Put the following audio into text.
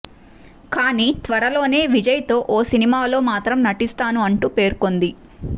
కానీ త్వరలోనే విజయ్ తో ఓ సినిమాలో మాత్రం నటిస్తాను అంటూ పేర్కొంది